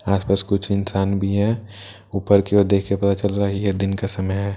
आसपास कुछ इंसान बी हैं ऊपर की ओर देख के पता चल रहा हैं ये दिन का समय हैं --